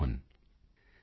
Mohan ਸੀ